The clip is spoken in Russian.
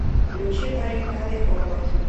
включи баррикады овод